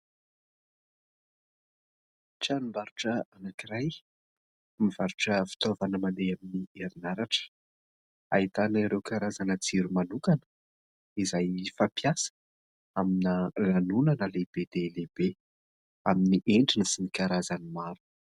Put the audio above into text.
Tranombarotra anankiray mivarotra fitaovana mandeha amin'ny herinaratra ; ahitana ireo karazana jiro manokana izay fampiasa amina lanonana lehibe dia lehibe amin'ny endriny sy ny karazany maro.